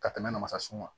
Ka tɛmɛ namasaso kan